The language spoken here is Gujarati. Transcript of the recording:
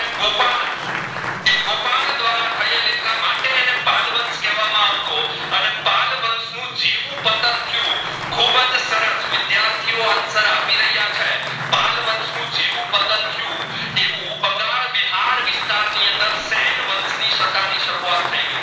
માં આવતો અને પાલ વંશ નું જેવુ પતંખ્યું ખુબજ સરસ વિદ્યાર્થીઓ answer આપી રહ્યા છે પાલ વંશ નું જેવુ પતંખ્યું તેવું બંગાળ બિહાર વિસ્તાર ની અંદર સેનવંશ ની સત્તા ની સરૂયત થઈ ગય